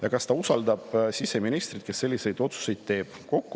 Ja kas ta usaldab siseministrit, kes selliseid otsuseid teeb?